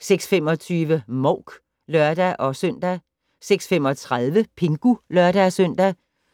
06:25: Mouk (lør-søn) 06:35: Pingu (lør-søn)